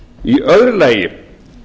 í öðru lagi